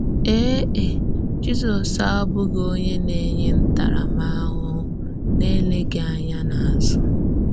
Èè è, Jízọ́s àbụ́ghị onye na-ényè ntàrámàhụhụ n’élèghì ànyà n’ázụ̀.